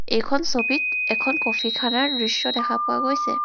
এইখন ছবিত এখন কফি খানাৰ দৃশ্য দেখা পোৱা গৈছে.